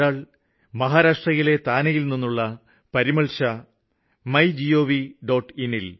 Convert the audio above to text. അതിലൊരാള് മഹാരാഷ്ട്രയിലെ താനെയില് നിന്നുള്ള പരിമള്ഷാ മൈഗവ്